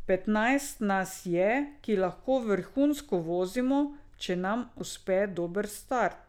Petnajst nas je, ki lahko vrhunsko vozimo, če nam uspe dober štart.